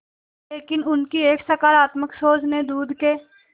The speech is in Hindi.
लेकिन उनकी एक सकरात्मक सोच ने दूध के